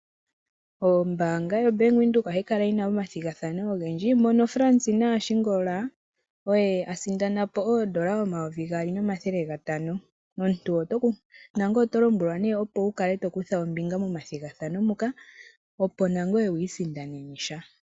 Ombaanga yo Bank Windhoek ohayi kala yina omathigathano ogendji. Mono Fransina Ashingola oye asindana po oodola omayovi gaali nomathele gatano. Omuntu nangoye oto lombwelwa nee opo wukale to kutha ombinga momathigathano moka. Opo nangwe wiisindanene sha.